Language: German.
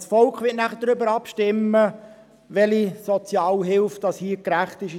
Das Volk wird darüber abstimmen, welche Sozialhilfe in diesem Kanton gerecht ist.